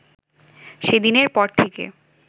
সেদিনের পর থেকে